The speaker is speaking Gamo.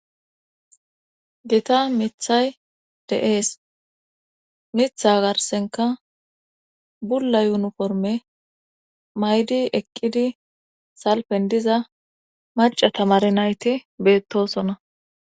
Githa mittay de7ees;mitha garssenkka bulla uniforme mayi eqqidi salppen diza macca tamare nayti beettoosona.